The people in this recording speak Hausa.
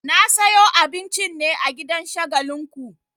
Na sayo abincin ne a gidan Shagalinku.